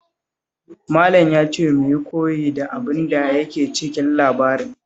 Malam ya ce mu yi koyi da abin da yake cikin labarin